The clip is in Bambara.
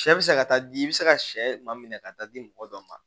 Sɛ bɛ se ka taa di i bɛ se ka sɛ maa minɛ ka taa di mɔgɔ dɔ ma